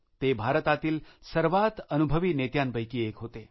ते भारतातील सर्वात अनुभवी नेत्यांपैकी एक होते